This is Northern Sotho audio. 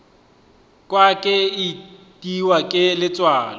kwa ke itiwa ke letswalo